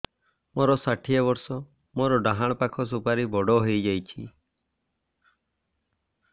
ମୋର ଷାଠିଏ ବର୍ଷ ମୋର ଡାହାଣ ପାଖ ସୁପାରୀ ବଡ ହୈ ଯାଇଛ